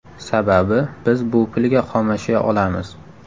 Sababi, biz bu pulga xomashyo olamiz.